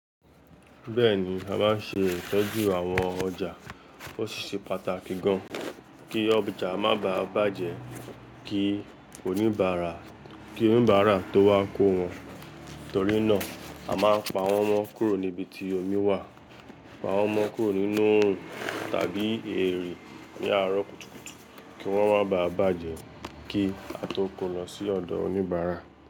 Bẹ́ẹ̀ni, a máa ń ṣe ìtọ́jú àwọn ọjà. Ó sì ṣe pàtàkì gan-an kí ọjà má bà bàjẹ́ kí oníbàárà, kí oníbàárà tó wá kó wọn. Torí náà, a máa ń pa wọ́n mọ́ kúrò níbi tí omi wà, pa wọ́n mọ́ kúrò nínú òòrùn tàbí erè ní àárọ̀ kùtùkùtù kí wọ́n má bà bàjẹ́ kí a tó kó lọ sí ọ̀dọ̀ oníbàárà.